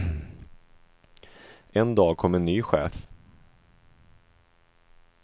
En dag kom en ny chef.